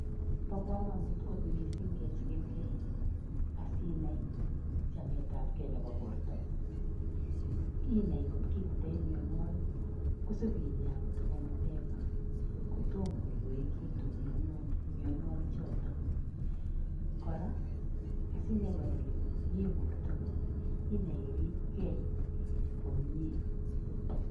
Bo kamanut kot mising kechikilkei asinai chametabgee nebo bortongung, inai kotki tindoi mianwokik isip inyakei kotoko mapema, kotom koloikitu mianwokik choto, kora asinai ile miyee bortongung, inai iripkei komnyee.